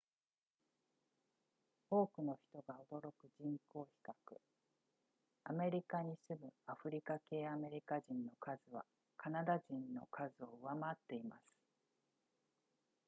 多くの人が驚く人口比較アメリカに住むアフリカ系アメリカ人の数はカナダ人の数を上回っています